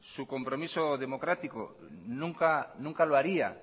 su compromiso democrático nunca lo haría